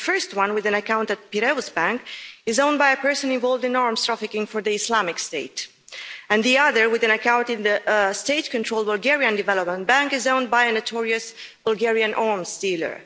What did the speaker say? The first one, with an account at Piraeus Bank, is owned by a person involved in arms trafficking for the Islamic State, and the other, with an account in the state controlled Bulgarian Development Bank, is owned by a notorious Bulgarian arms dealer.